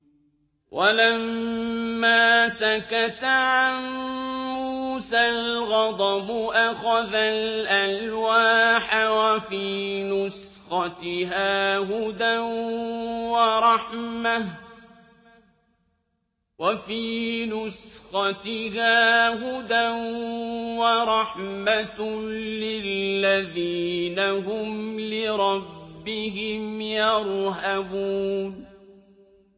وَلَمَّا سَكَتَ عَن مُّوسَى الْغَضَبُ أَخَذَ الْأَلْوَاحَ ۖ وَفِي نُسْخَتِهَا هُدًى وَرَحْمَةٌ لِّلَّذِينَ هُمْ لِرَبِّهِمْ يَرْهَبُونَ